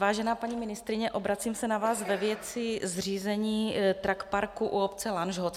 Vážená paní ministryně, obracím se na vás ve věci zřízení truck parku u obce Lanžhot.